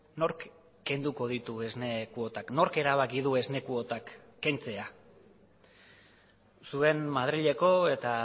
nork kenduko ditu esne kuotak nork erabaki du esne kuotak kentzea zuen madrileko eta